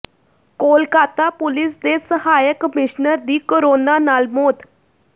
Kolkata police ਦੇ ਸਹਾਇਕ commissioner ਦੀ ਕੋਰੋਨਾ ਨਾਲ ਮੌਤ